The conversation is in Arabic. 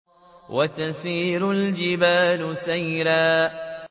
وَتَسِيرُ الْجِبَالُ سَيْرًا